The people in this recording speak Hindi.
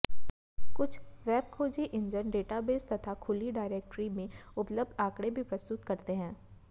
कुछ वेब खोजी इंजन डेटाबेस तथा खुली डायरेक्टरी में उपलब्ध आँकडे भी प्रस्तुत करते हैं